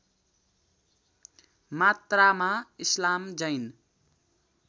मात्रामा इस्लाम जैन